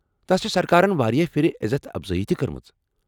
تس چھےٚ سرکارن واریاہ پھر عزت افزٲیی کٔرمٕژ۔